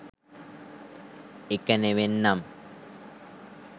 එක නෙවෙන්නම්